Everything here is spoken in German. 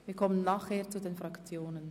Wir kommen anschliessend zu den Fraktionen.